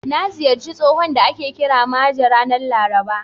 Na ziyarci tsohon da ake kira Maje ranar Laraba.